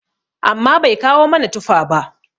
amma Bai kawo mana tuffa ba?